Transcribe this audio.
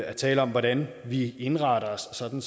at tale om hvordan vi indretter os sådan